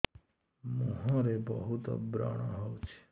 ମୁଁହରେ ବହୁତ ବ୍ରଣ ହଉଛି